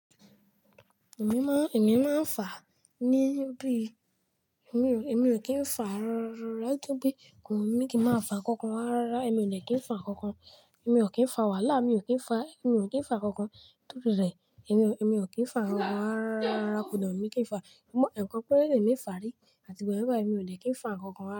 Èmi máa n, èmi máa ń fà ní bi. Èmi ò, èmi ò kí ń fà rárárárá nítorí pé kò wù mí kí n máa fà nǹkan rárá. Rárá, èmi ò dẹ kí ń fà nkankan. Èmi ò kí ń fà wàhálà, èmi ò kí ń fà, èmi ò kí ń fà nkankan. Èmi o, èmi ò kí ń fà nkankan. Rárárárá, kò dẹ wùmí kí ń fà. Ẹ̀ẹ̀kan péré ni èmi fà rí, àti ìgbà yẹn bayi èmi ò dẹ kí ń fà nkankan rárá.